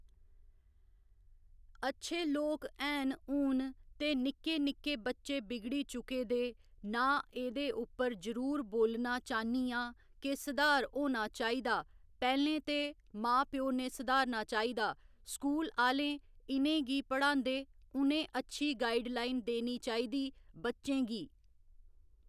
अच्छे लोक हैन हून ते निक्के निक्के बच्चे बिगड़ी चुके दे ना ऐह्दे उप्पर जरुर बोलना चाह्न्नी आं के सुधार होना चाहिदा पैह्‌लें ते मां प्यो ने सुधारना चाहिदा स्कूल आह्‌ले इनें गी पढांदे उनें अच्छी गाइडलाइन देनी चाहिदी बच्चें गी